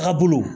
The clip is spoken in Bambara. A bolo